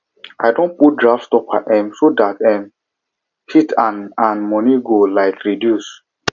i don put draft stopper um so the um heat and ac and ac money go um reduce